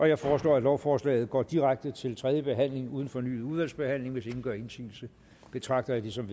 jeg foreslår at lovforslaget går direkte til tredje behandling uden fornyet udvalgsbehandling hvis ingen gør indsigelse betragter jeg det som